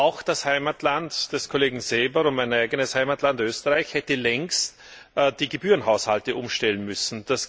Auch das Heimatland des Kollegen Seeber und mein eigenes Heimatland, Österreich, hätte längst die Gebührenhaushalte umstellen müssen.